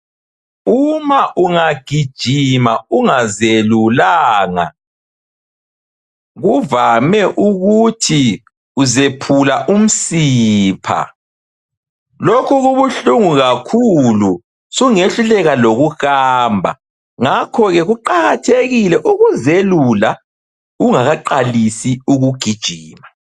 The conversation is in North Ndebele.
Uma ungagijima ungazelulanga kuvame ukuthi uzephula umsipha. Lokhu kubuhlungu kakhulu sungehluleka lokuhamba ngakho ke kuqakathekile ukuzelula ungakaqalisi ukugijima.